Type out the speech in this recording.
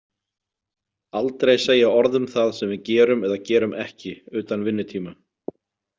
Aldrei segja orð um það sem við gerum eða gerum ekki utan vinnutíma.